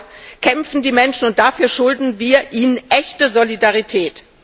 Dafür kämpfen die Menschen, und dafür schulden wir ihnen echte Solidarität.